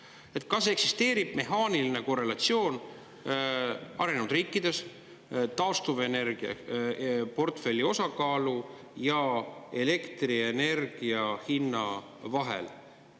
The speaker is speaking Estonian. Kas arenenud riikides eksisteerib mehaaniline korrelatsioon taastuvenergiaportfelli osakaalu ja elektrienergia hinna vahel?